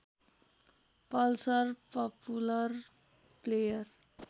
Pulsar popular player